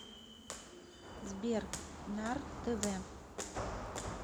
сбер нар тэ вэ